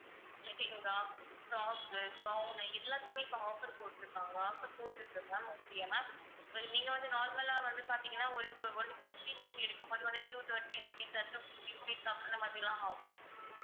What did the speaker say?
lehenga, frock உ gown உ எல்லாத்துக்குமே இப்ப offer போட்டுருக்காங்க offer போட்ருக்கு ma'am okay யா ma'am well நீங்க வந்து normal லா வந்து பாத்தீங்கன்னா ஒரு ku~ ஒரு kurti நீங்க எடுக்கும்போது வந்து two thirty rupees or two fifty rupees அந்த மாதிரிலாம் ஆகும்